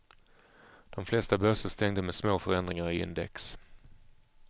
De flesta börser stängde med små förändringar i index.